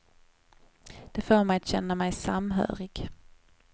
Det får mig att känna mig samhörig.